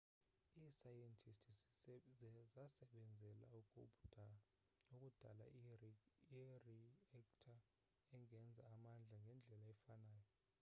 iisayentisti zasebenzela ukudala iri-ekta engenza amandla ngendlela efanayo